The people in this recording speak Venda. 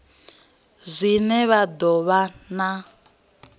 zwine zwa do vha na